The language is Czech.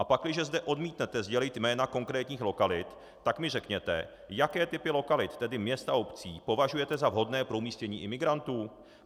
A pakliže zde odmítnete sdělit jména konkrétních lokalit, tak mi řekněte, jaké typy lokalit, tedy měst a obcí, považujete za vhodné pro umístění imigrantů.